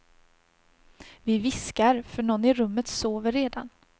Vi viskar, för någon i rummet sover redan.